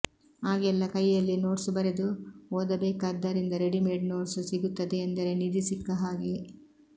ಆಗೆಲ್ಲ ಕೈಯಲ್ಲೇ ನೋಟ್ಸ್ ಬರೆದು ಓದ ಬೇಕಾದ್ದರಿಂದ ರೆಡಿಮೇಡ್ ನೋಟ್ಸ್ ಸಿಗುತ್ತದೆಯೆಂದರೆ ನಿಧಿ ಸಿಕ್ಕ ಹಾಗೆ